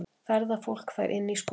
Ferðafólk fær inni í skóla